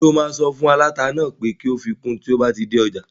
Ṣé o máa sọ fún aláta náà pé kó fi kun tí o bá dé ọjà?